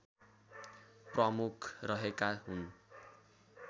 प्रमुख रहेका हुन्